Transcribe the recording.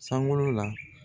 Sangolo la